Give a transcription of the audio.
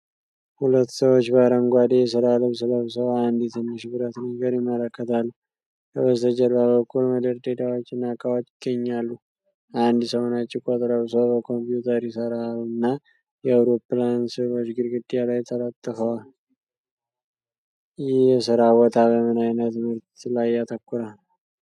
ሁለት ሰዎች በአረንጓዴ የሥራ ልብስ ለብሰው አንድ ትንሽ ብረት ነገር ይመለከታሉ። ከበስተጀርባ በኩል መደርደሪያዎችና ዕቃዎች ይገኛሉ። አንድ ሰው ነጭ ኮት ለብሶ በኮምፒውተር ይሠራልና የአውሮፕላን ስዕሎች ግድግዳ ላይ ተለጥፈዋል። ይህ የሥራ ቦታ በምን ዓይነት ምርት ላይ ያተኩራል?